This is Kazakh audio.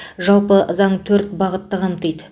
жалпы заң төрт бағытты қамтиды